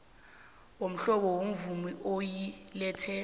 womhlobo wemvumo yokuletha